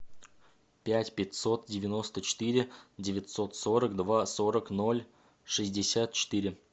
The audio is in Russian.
пять пятьсот девяносто четыре девятьсот сорок два сорок ноль шестьдесят четыре